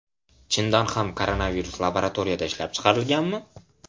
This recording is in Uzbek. Chindan ham koronavirus laboratoriyada ishlab chiqarilganmi?